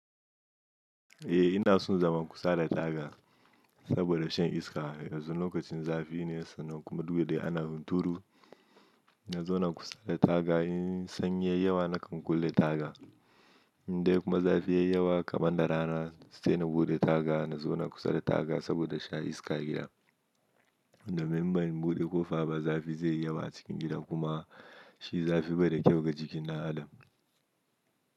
Eh ina son zaman kusa da taga saboda shan iska. Yanzu lokacin zafi ne sannan kuma duk da ana hunturu, na zauna kusa da taga in sanyi yayi yawa na kan kulle taga. Indai kuma zafi yayi yawa kamar da rana sai na buɗe taga na zauna kusa da taga saboda shan iska gida. Domin in ban buɗe ƙofa ba zafi zai yi yawa a cikin gida kuma shi zafi bai da kyau ga jikin dan Adam.